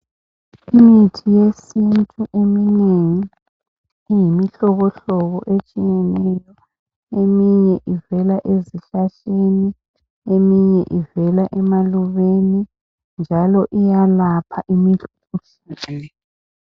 Imithi yesintu eminengi iyimihlobo etshiyeneyo. Eminye ivela ezihlahleni eminye ivela emalubeni njalo iyelapha imikhuhlane